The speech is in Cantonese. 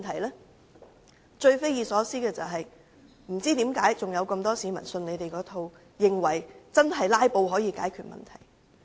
不過，最匪夷所思的是，仍有很多市民相信他們這一套，以為"拉布"可以解決問題。